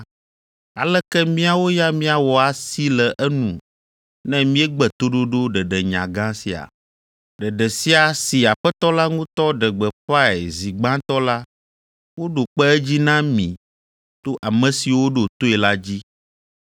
aleke míawo ya míawɔ asi le enu ne míegbe toɖoɖo ɖeɖenya gã sia? Ɖeɖe sia si Aƒetɔ la ŋutɔ ɖe gbeƒãe zi gbãtɔ la woɖo kpe edzi na mi to ame siwo ɖo toe la dzi.